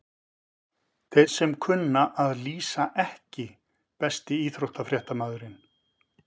Þeir sem kunna að lýsa EKKI besti íþróttafréttamaðurinn?